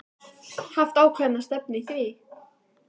Haft ákveðna stefnu í því?